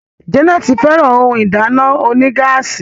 Janet féràn òún ìdáná onígáàsì.